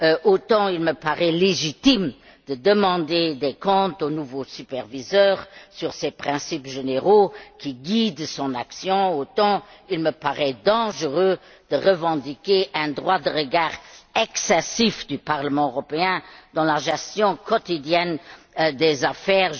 Autant il me paraît légitime de demander des comptes au nouveau superviseur sur les principes généraux qui guident son action, autant il me paraît dangereux de revendiquer un droit de regard excessif du Parlement européen dans la gestion quotidienne des affaires.